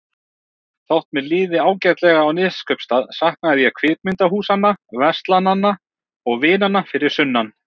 Þótt mér liði ágætlega á Neskaupstað saknaði ég kvikmyndahúsanna, verslananna og vinanna fyrir sunnan.